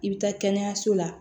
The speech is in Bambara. I bɛ taa kɛnɛyaso la